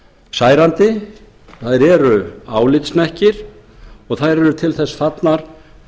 særandi og þær eru álitshnekkir og þær eru til þess fallnar